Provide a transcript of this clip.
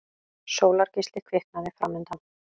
Sólargeisli kviknaði framundan.